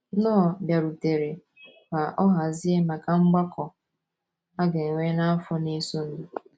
Knorr bịarutere ka ọ hazie maka mgbakọ a ga - enwe n’afọ na - esonụ.